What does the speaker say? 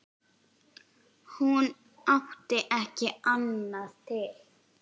Hún átti ekki annað til.